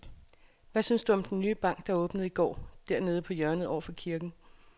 Hvad synes du om den nye bank, der åbnede i går dernede på hjørnet over for kirken?